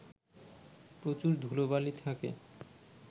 প্রচুর ধুলোবালি থাকে